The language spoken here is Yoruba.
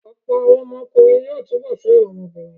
Ọ̀pọ̀lọpọ̀ àwọn ọkùnrin yóò túbọ̀ fẹ́ràn ọmọ obìnrin